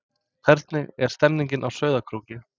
Hvernig er stemningin á Sauðárkróki?